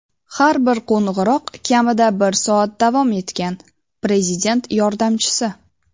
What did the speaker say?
Har bir qo‘ng‘iroq kamida bir soat davom etgan – Prezident yordamchisi.